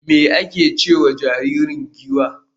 me ake ce ma jariri giwa?